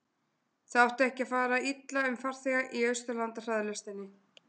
það átti ekki að fara illa um farþega í austurlandahraðlestinni